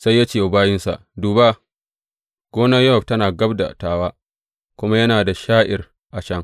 Sai ya ce wa bayinsa, Duba, gonar Yowab tana gab da tawa, kuma yana da sha’ir a can.